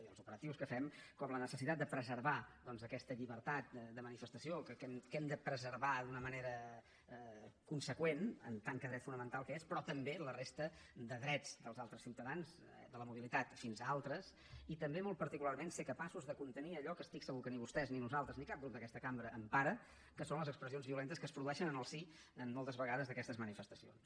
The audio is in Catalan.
i els operatius que fem com la necessitat de preservar aquesta llibertat de manifestació que hem de preservar d’una manera conseqüent en tant que dret fonamental que és però també la resta de drets dels altres ciutadans de la mobilitat fins a altres i també molt particularment ser capaços de contenir allò que estic segur que ni vostès ni nosaltres ni cap grup d’aquesta cambra empara que són les expressions violentes que es produeixen en el si moltes vegades d’aquestes manifestacions